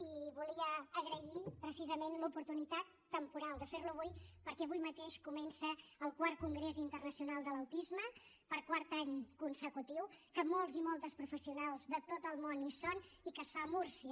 i volia agrair precisament l’oportunitat temporal de fer la avui perquè avui mateix comença el iv congrés internacional de l’autisme per quart any consecutiu que molts i moltes professionals de tot el món hi són i que es fa a múrcia